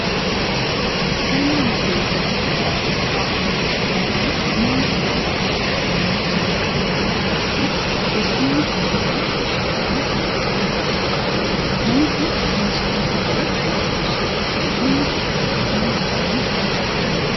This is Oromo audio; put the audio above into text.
Galma wal gayii tokko keessatti gaafa marii gaggeessan manni isaa bal'aa kan namoota maraa qabachuu danda'uu fi teessumni ammayyaan soofaan hedduun jiraachuu qaba. Mana keessa meeshaaleen sagalees barbaachisoodha. Galma tokko akkamiin ijaaruun danda'ama?